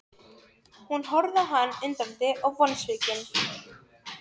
Hann gekk orðalaust framhjá mér í átt að kirkjudyrunum.